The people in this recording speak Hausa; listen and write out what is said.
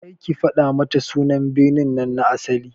Kar ki fada mata sunan birnin na asali!